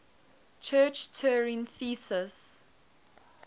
church turing thesis